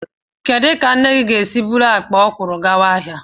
Kedụ ka nna gị ga-esi ebu akpa ọkwụrụ aga ahịa?